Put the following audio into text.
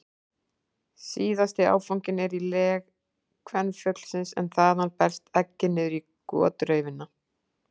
Síðasti áfanginn er í legi kvenfuglsins en þaðan berst eggið niður í gotraufina.